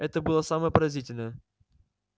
это было самое поразительное